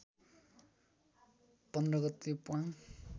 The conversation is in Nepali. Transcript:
१५ गते प्वाङ